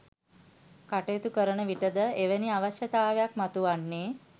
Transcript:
කටයුතු කරනවිටද එවැනි අවශ්‍යතාවයක් මතුවන්නේ?